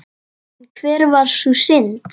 En hver var sú synd?